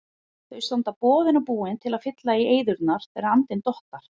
Þau standa boðin og búin til að fylla í eyðurnar, þegar andinn dottar.